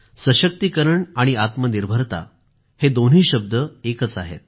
सशक्तीकरण आणि आत्मनिर्भरता या दोन्ही शब्द एकच आहेत